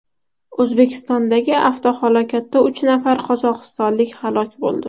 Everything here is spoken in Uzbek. O‘zbekistondagi avtohalokatda uch nafar qozog‘istonlik halok bo‘ldi.